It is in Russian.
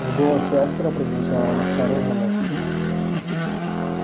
в голосе аспера прозвучала настороженность